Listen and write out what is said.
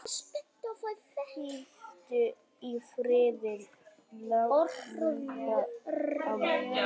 Hvíldu í friði, Imba amma.